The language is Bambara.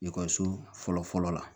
Ekɔliso fɔlɔ fɔlɔ la